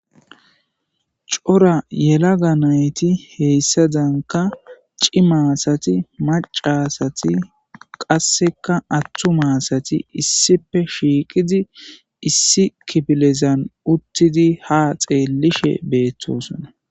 Cora yela ga nayti heyssadanka ci maasati macasati qasseka atthu maasati issipe shiiqidi issi kipilezan uttidi ha xeellishe beettosona